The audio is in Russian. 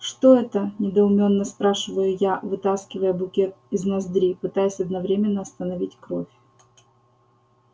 что это недоумённо спрашиваю я вытаскивая букет из ноздри пытаясь одновременно остановить кровь